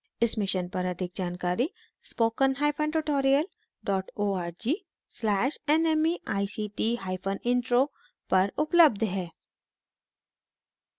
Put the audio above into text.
इस mission पर अधिक जानकारी spoken hyphen tutorial dot org slash nmeict hyphen intro पर उपलब्ध है